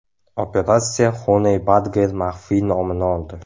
Operatsiya Honey Badger maxfiy nomini oldi.